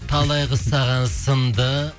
талай қыз саған сынды